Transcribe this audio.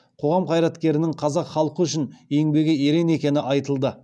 қоғам қайраткерінің қазақ халқы үшін еңбегі ерен екені айтылды